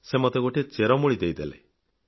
ସେ ମୋତେ ଗୋଟିଏ ଚେରମୂଳି ଦେଇଦେଲେ